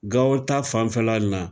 Gawo ta fanfɛla nin na